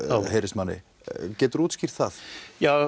heyrist manni geturðu útskýrt það já